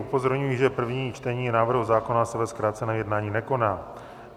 Upozorňuji, že první čtení návrhu zákona se ve zkráceném jednání nekoná.